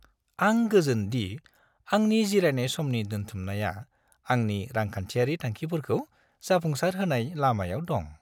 आं गोजोन दि आंनि जिरायनाय समनि दोनथुमनाया आंनि रांखान्थियारि थांखिफोरखौ जाफुंसारहोनाय लामायाव दं।